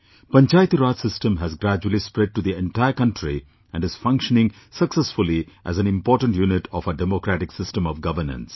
Panchayati Raj system has gradually spread to the entire country and is functioning successfully as an important unit of our democratic system of governance